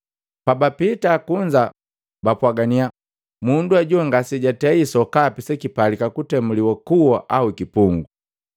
Pabapita kunza, bapwagania, “Mundu ajo ngasejatei sokapi sekipalika kutemuliwa kuwa au kipungu.”